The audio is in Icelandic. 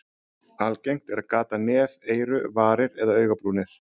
Algengt er að gata nef, eyru, varir eða augabrúnir.